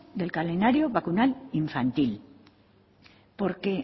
del calendario vacunal infantil porque